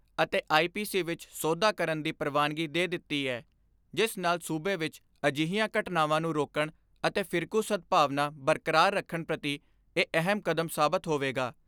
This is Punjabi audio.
ਅਤੇ ਆਈ.ਪੀ.ਸੀ ਵਿੱਚ ਸੋਧਾਂ ਕਰਨ ਦੀ ਪ੍ਰਵਾਨਗੀ ਦੇ ਦਿੱਤੀ ਏ ਜਿਸ ਨਾਲ ਸੂਬੇ ਵਿੱਚ ਅਜਿਹੀਆਂ ਘਟਨਾਵਾਂ ਨੂੰ ਰੋਕਣ ਅਤੇ ਫਿਰਕੂ ਸਦਭਾਵਨਾ ਬਰਕਰਾਰ ਰੱਖਣ ਪ੍ਰਤੀ ਇਹ ਅਹਿਮ ਕਦਮ ਸਾਬਤ ਹੋਵੇਗਾ।